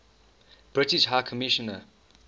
british high commissioner